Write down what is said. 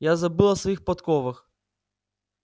я забыл о своих подковах